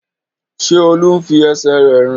Ṣé Olú ń fi ẹsẹ̀ rẹ̀ rìn?